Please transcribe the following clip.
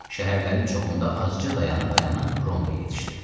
Şəhərlərin çoxunda azca dayana-dayana Romaya yetişdi.